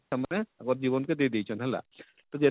ତା ମାନେ ତାଙ୍କର ଜୀବନ କେ ଦେଇ ଦେଇଛନ ହେଲା ତ,